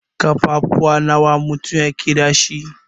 Ƙafafuwa nawa mutum yake dash?